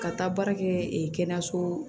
Ka taa baara kɛ kɛnɛyaso